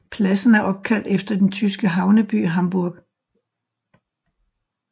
Pladsen er opkaldt efter den tyske havneby Hamburg